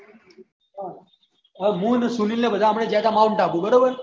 હવે હું અને સુનીલ ને બધા આપળે ગયા હતા માઉંન્ટ આબુ બરોબર